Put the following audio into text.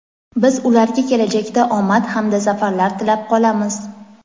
Biz ularga kelajakda omad hamda zafarlar tilab qolamiz.